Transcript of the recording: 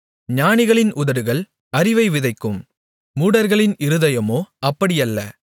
ஞானிகளின் உதடுகள் அறிவை விதைக்கும் மூடர்களின் இருதயமோ அப்படியல்ல